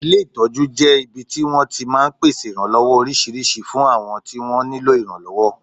Ilé ìtọ́jú jẹ́ ibi tí wọ́n ti máa ń pèsè ìrànlọ́wọ́ oríṣiríṣi fún àwọn tí wọ́n nílò ìrànlọ́wọ́